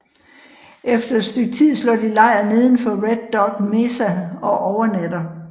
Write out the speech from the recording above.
Efter et stykke tid slår de lejr neden for Red dog mesa og overnatter